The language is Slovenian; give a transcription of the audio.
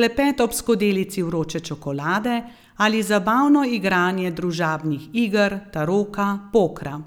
klepet ob skodelici vroče čokolade ali zabavno igranje družabnih iger, taroka, pokra ...